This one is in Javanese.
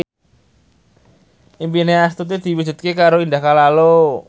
impine Astuti diwujudke karo Indah Kalalo